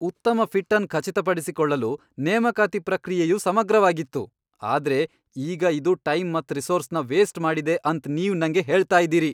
ಉತ್ತಮ ಫಿಟ್ ಅನ್ ಖಚಿತಪಡಿಸಿಕೊಳ್ಳಲು ನೇಮಕಾತಿ ಪ್ರಕ್ರಿಯೆಯು ಸಮಗ್ರವಾಗಿತ್ತು, ಆದ್ರೆ ಈಗ ಇದು ಟೈಮ್ ಮತ್ ರಿಸೋರ್ಸ್ನ ವೇಸ್ಟ್ ಮಾಡಿದೆ ಅಂತ್ ನೀವ್ ನಂಗೆ ಹೇಳ್ತ ಇದ್ದೀರಿ.